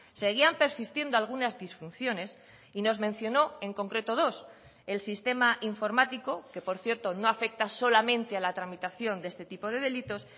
seguían persistiendo algunas disfunciones y nos mencionó en concreto dos el sistema informático que por cierto no afecta solamente a la tramitación de este tipo de delitos